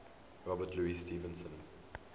robert louis stevenson